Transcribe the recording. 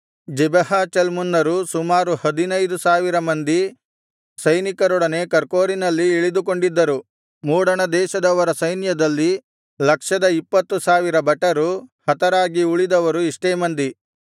ಜೆಬಹ ಚಲ್ಮುನ್ನರು ಸುಮಾರು ಹದಿನೈದು ಸಾವಿರ ಮಂದಿ ಸೈನಿಕರೊಡನೆ ಕರ್ಕೋರಿನಲ್ಲಿ ಇಳಿದುಕೊಂಡಿದ್ದರು ಮೂಡಣದೇಶದವರ ಸೈನ್ಯದಲ್ಲಿ ಲಕ್ಷದ ಇಪ್ಪತ್ತು ಸಾವಿರ ಭಟರು ಹತರಾಗಿ ಉಳಿದವರು ಇಷ್ಟೇ ಮಂದಿ